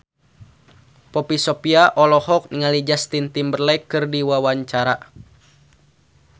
Poppy Sovia olohok ningali Justin Timberlake keur diwawancara